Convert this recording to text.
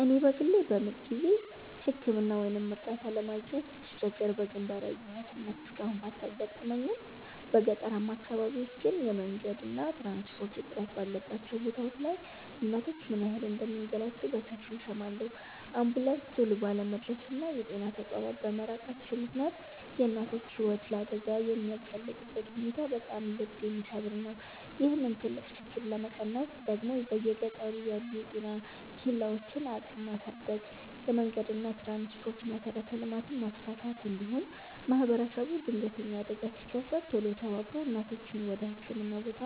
እኔ በግሌ በምጥ ጊዜ ሕክምና ወይም እርዳታ ለማግኘት ስትቸገር በግንባር ያየኋት እናት እስካሁን ባታጋጥመኝም፣ በገጠራማ አካባቢዎች ግን የመንገድና የትራንስፖርት እጥረት ባለባቸው ቦታዎች ላይ እናቶች ምን ያህል እንደሚንገላቱ በሰፊው እሰማለሁ። አምቡላንስ ቶሎ ባለመድረሱና የጤና ተቋማት በመራቃቸው ምክንያት የእናቶች ሕይወት ለአደጋ የሚጋለጥበት ሁኔታ በጣም ልብ የሚሰብር ነው። ይህንን ትልቅ ችግር ለመቀነስ ደግሞ በየገጠሩ ያሉ የጤና ኬላዎችን አቅም ማሳደግ፣ የመንገድና የትራንስፖርት መሠረተ ልማትን ማስፋፋት፣ እንዲሁም ማኅበረሰቡ ድንገተኛ አደጋ ሲከሰት ቶሎ ተባብሮ እናቶችን ወደ ሕክምና ቦታ